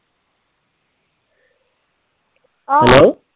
Hello?